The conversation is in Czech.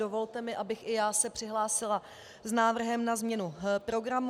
Dovolte mi, abych i já se přihlásila s návrhem na změnu programu.